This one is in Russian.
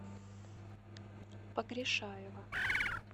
погрешаева